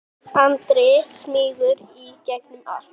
Andri: Smýgur í gegnum allt?